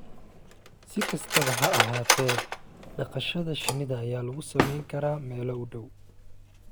Si kastaba ha ahaatee, dhaqashada shinnida ayaa lagu samayn karaa meel u dhow